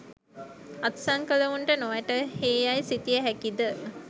අත්සන් කලවුන්ට නොවැටහේ යයි සිතිය හැකිද?